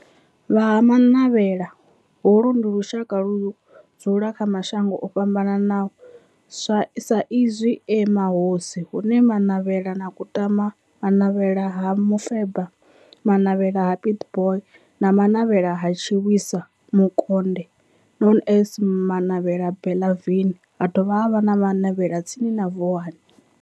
Vha Ha-Manavhela, holu ndi lushaka ludzula kha mashango ofhambanaho sa izwi e mahosi, hu ne Manavhela ha Kutama, Manavhela ha Mufeba, Manavhela ha Pietboi na Manavhela ha Tshiwisa Mukonde known as Manavhela Benlavin, ha dovha havha na Manavhela tsini na Vuwani.